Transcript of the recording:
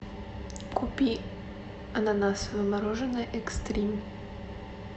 купи ананасовое мороженое экстрим